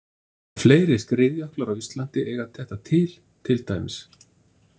Fleiri skriðjöklar á Íslandi eiga þetta til, til dæmis.